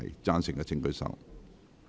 贊成的請舉手。